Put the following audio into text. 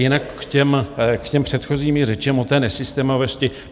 Jinak k těm předchozím řečem o té nesystémovosti.